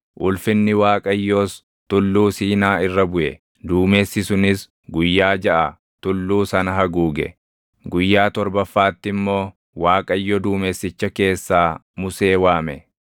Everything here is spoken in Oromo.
ulfinni Waaqayyoos Tulluu Siinaa irra buʼe. Duumessi sunis guyyaa jaʼa tulluu sana haguuge; guyyaa torbaffaatti immoo Waaqayyo duumessicha keessaa Musee waame.